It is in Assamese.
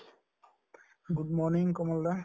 good morning Kamal da